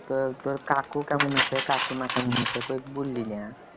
তোর তোর কাকু কেমন আছে কাকিমা কেমন আছে? কই বললি না